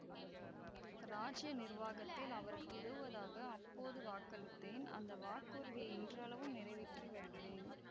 இராஜ்ய நிர்வாகத்தில் அவருக்கு உதவுவதாக அப்போது வாக்களித்தேன் அந்த வாக்குறுதியை இன்றளவும் நிறைவேற்றி வருகிறேன்